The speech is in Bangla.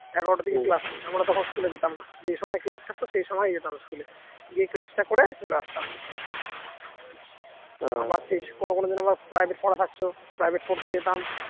এগারোটা থেকে class নেই আমরা তখন school যেতাম না যে সময় class থাকত সেই সময় যেতাম school দিয়ে class টা করে চলে আসতাম কোন কোন দিন আমার private পড়া থাকতো private পড়তে যেতাম